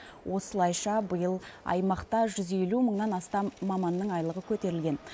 осылайша биыл аймақта жүз елу мыңнан астам маманның айлығы көтерілген